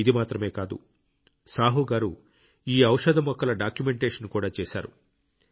ఇది మాత్రమే కాదు సాహు గారు ఈ ఔషధ మొక్కల డాక్యుమెంటేషన్ కూడా చేశారు